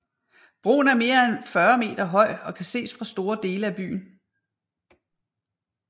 Broen er mere end 40 meter høj og kan ses fra store dele af byen